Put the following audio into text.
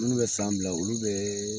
Minnu bɛ san fila olu bee